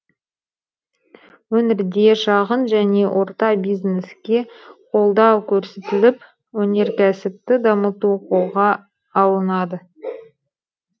өңірде шағын және орта бизнеске қолдау көрсетіліп өнеркәсіпті дамыту қолға алынады